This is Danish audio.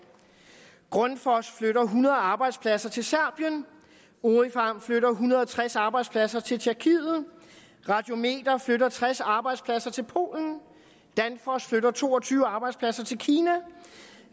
grundfos flytter hundrede arbejdspladser til serbien orifarm flytter en hundrede og tres arbejdspladser til tjekkiet radiometer flytter tres arbejdspladser til polen danfoss flytter to og tyve arbejdspladser til kina